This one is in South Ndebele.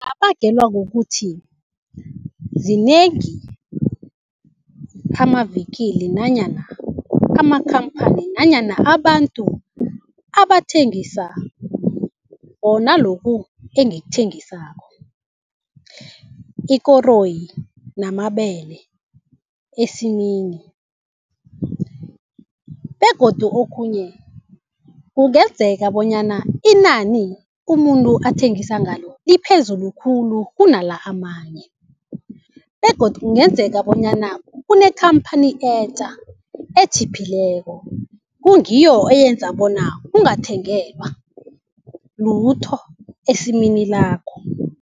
Kungabangelwa kukuthi zinengi amavikili nanyana amakhamphani nanyana abantu abathengisa bona lokhu engikuthengisako, ikoroyi namabele esimini. Begodu okhunye kungenzeka bonyana inani umuntu athengisa ngalo liphezulu khulu kunala amanye begodu kungenzeka bonyana kunekhamphani etja etjhiphileko kungiyo eyenza bona ungathengelwa lutho esimini lakho.